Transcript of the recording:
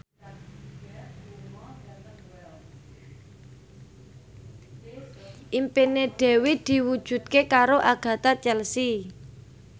impine Dewi diwujudke karo Agatha Chelsea